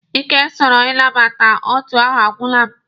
Ike usoro nnabata otu ahụ agwụla m.